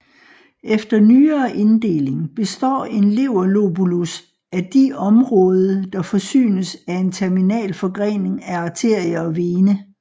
Efter nyere inddeling består en leverlobulus af de område der forsynes af en terminal forgrening af arterie og vene